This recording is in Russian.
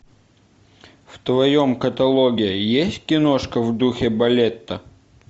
в твоем каталоге есть киношка в духе балета